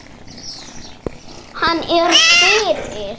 Hann er fyrir.